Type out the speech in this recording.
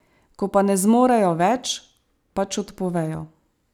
Ko pa ne zmorejo več, pač odpovejo.